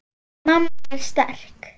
Mamma er sterk.